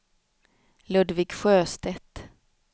Ludvig Sjöstedt